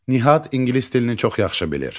Nihat ingilis dilini çox yaxşı bilir.